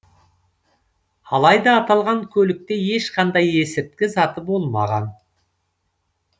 алайда аталған көлікте ешқандай есірткі заты болмаған